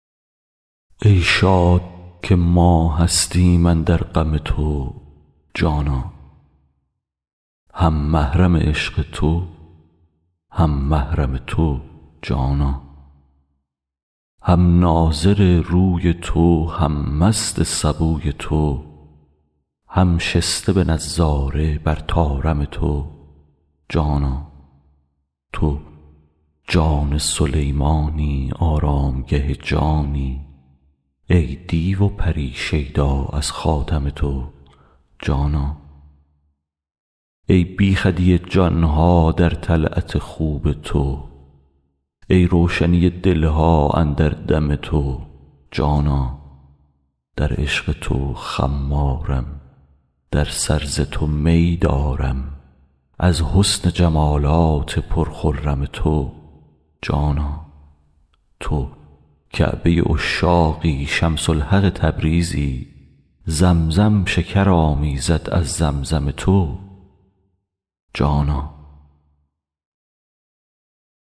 ای شاد که ما هستیم اندر غم تو جانا هم محرم عشق تو هم محرم تو جانا هم ناظر روی تو هم مست سبوی تو هم شسته به نظاره بر طارم تو جانا تو جان سلیمانی آرامگه جانی ای دیو و پری شیدا از خاتم تو جانا ای بیخودی جان ها در طلعت خوب تو ای روشنی دل ها اندر دم تو جانا در عشق تو خمارم در سر ز تو می دارم از حسن جمالات پرخرم تو جانا تو کعبه عشاقی شمس الحق تبریزی زمزم شکر آمیزد از زمزم تو جانا